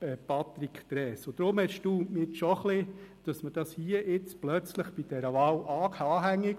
Darum erstaunt es mich ein bisschen, dass man dies hier bei dieser Wahl anbringt.